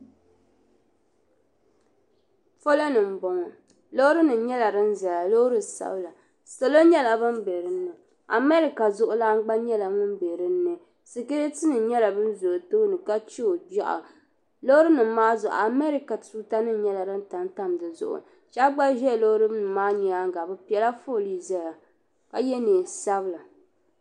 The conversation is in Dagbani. Palɔni n bɔŋɔ. lɔɔrinim nyala din ʒaya lɔɔri sabila. salɔ nyala ban be dini. America zuɣulana gba nyala ŋun be dini. sikiritinim nyala ba ʒa ɔ tooni ka che o gbeɣu. lɔɔrinim maa zuɣu amereca tuutanim nyala din tamtam di zuɣu. shabi gba ʒa lɔɔrinim maa nyaaŋa bɛ pelaa fɔɔlii n ʒaya ka ye neen' sabila.